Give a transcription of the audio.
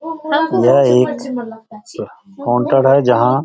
उधर एक काउंटर है जंहा --